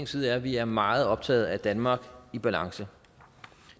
side er at vi er meget optaget af et danmark i balance